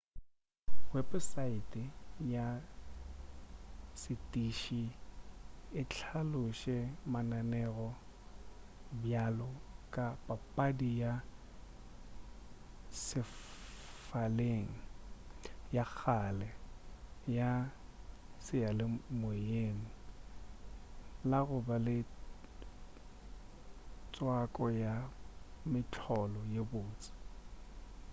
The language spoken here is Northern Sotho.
weposaete ya setiši e hlalosetše lenaneo bjalo ka papadi ya sefaleng ya kgale ya seyalemoyeng la goba le tswako ya mehlolo ye bose